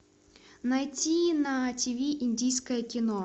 найти на тиви индийское кино